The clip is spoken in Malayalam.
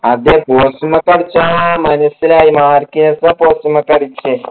അതെ post മ്മക്ക അടിച്ചേ മനസിലായി post മ്മക്ക അടിച്ചേ